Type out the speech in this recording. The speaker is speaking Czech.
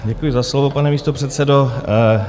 Děkuji za slovo, pane místopředsedo.